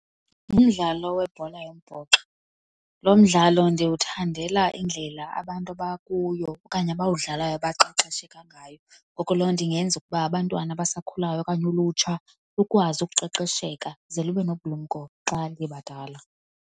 Ngumdlalo webhola yombhoxo. Lo mdlalo ndiwuthandela indlela abantu abakuyo okanye abawudlalayo baqeqesheke ngayo, ngoko loo nto ingenza ukuba abantwana abasakhulayo okanye ulutsha lukwazi uqesheka ze libe nobulumko xa bebadala.